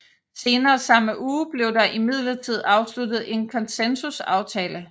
Senere samme uge blev der imidlertid afsluttet en konsensusaftale